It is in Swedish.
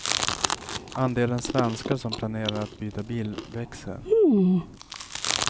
Andelen svenskar som planerar att byta bil växer.